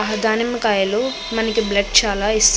దానిమ్మకాయలు మనకి బ్లడ్ చాలా ఇస్తుంది.